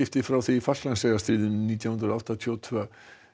frá því í nítján hundruð áttatíu og tvö